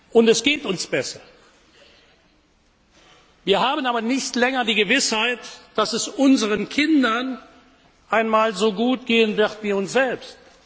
Und es geht uns besser! Wir haben aber nicht länger die Gewissheit, dass es unseren Kindern einmal so gut gehen wird wie uns selbst.